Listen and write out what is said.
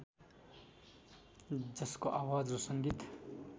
जसको आवाज र सङ्गीत